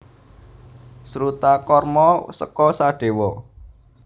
Srutakarma seka Sadewa